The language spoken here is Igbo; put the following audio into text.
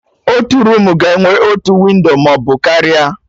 Otu roomu ga-enwe otu windo maọbụ karịa